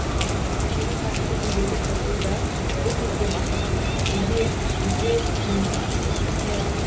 көшенің қарсы бетіндегі дырду да бұл кезде басылған үй де түз де жым жырт